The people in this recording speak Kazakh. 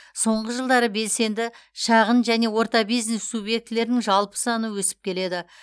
соңғы жылдары белсенді шағын және орта бизнес субъектілерінің жалпы саны өсіп келеді